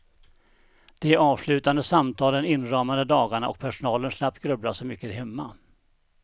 De avslutande samtalen inramade dagarna och personalen slapp grubbla så mycket hemma.